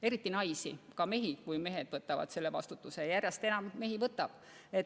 Eriti naisi, aga ka mehi, kui mehed võtavad selle vastutuse, ja järjest enam mehi võtab.